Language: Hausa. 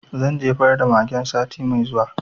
Zan jefar da magen sati mai zuwa